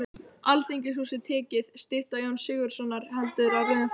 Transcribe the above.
Alþingishúsið tekið, stytta Jóns Sigurðssonar heldur á rauðum fána